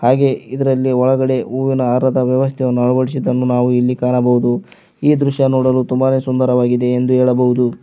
ಈ ದೃಶ್ಯವು ನೋಡಲು ತುಂಬ ಸುಂದರವಾಗಿದೆ ಎಂದು ಹೇಳಬೌದು.